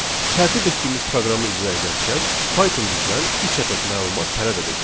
Tərtib etdiyimiz proqramı icra edərkən Python bizdən üç ədəd məlumat tələb edəcək.